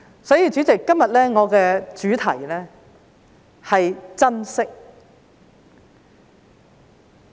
所以，主席，今天我的主題是"珍惜"。